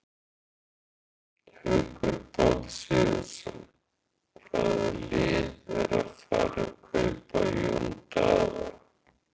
Haukur Páll Sigurðsson Hvaða lið er að fara að kaupa Jón Daða?